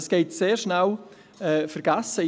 Dies geht sehr schnell vergessen.